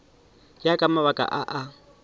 ya ka mabaka a a